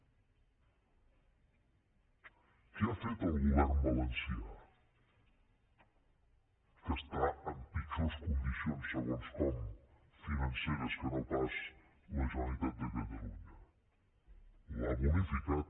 què ha fet el govern valencià que està en pitjors condicions segons com financeres que no pas la generalitat de catalunya l’ha bonificat